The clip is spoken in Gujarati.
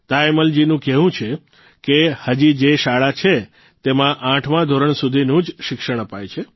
તાયમ્મલજીનું કહેવું છે કે હજી જે શાળા છે તેમાં આઠમા ધોરણ સુધીનું જ શિક્ષણ અપાય છે